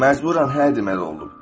Məcburaən hə deməli olub.